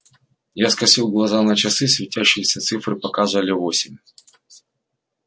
я скосил глаза на часы светящиеся цифры показывали восемь